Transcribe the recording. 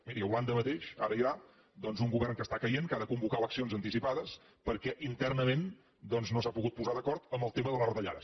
miri a holanda mateix ara hi ha doncs un govern que està caient que ha de convocar eleccions anticipades perquè internament doncs no s’ha pogut posar d’acord en el tema de les retallades